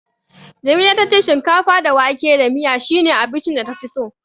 Jamila ta ce shinkafa da wake da miya shine abincin da tafi so.